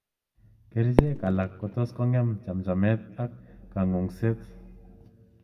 Kerichek alak kotos ngem chamchamet ak kangungset.